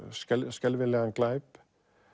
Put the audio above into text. skelfilegan glæp